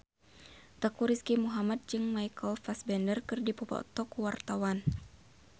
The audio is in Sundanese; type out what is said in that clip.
Teuku Rizky Muhammad jeung Michael Fassbender keur dipoto ku wartawan